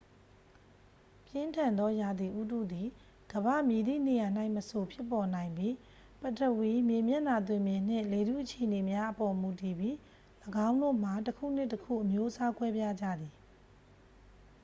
ပြင်းထန်သောရာသီဥတုသည် ကမ္ဘာ့မည်သည့်နေရာ၌မဆို ဖြစ်ပေါ်နိုင်ပြီး ပထဝီ မြေမျက်နှာသွင်ပြင်နှင့် လေထု အခြေအနေများအပေါ် မူတည်ပြီး ၎င်းတို့မှာ တစ်ခုနှင့်တစ်ခု အမျိုးအစားကွဲပြားကြသည်